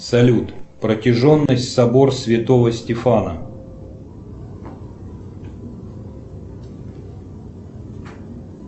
салют протяженность собор святого стефана